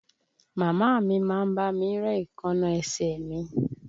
Màmá a mi má ń bá mi ré èékánná ẹsẹ̀ mi